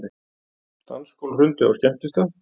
Dansgólf hrundi á skemmtistað